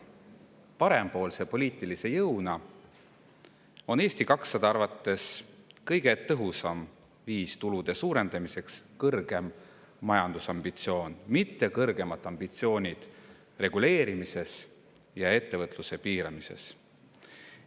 Parempoolse poliitilise jõuna on Eesti 200 arvates kõige tõhusam viis tulude suurendamiseks kõrgem majandusambitsioon, mitte kõrgemad ambitsioonid reguleerimises ja ettevõtluse piiramises.